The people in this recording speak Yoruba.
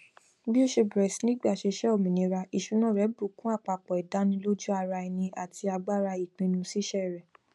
bí ó ṣe bẹrẹ sí ní gbaṣẹṣe òmìnira ìṣúná rẹ bù kún àpapọ ìdánilójúara ẹni àti agbára ìpinnu ṣíṣe rẹ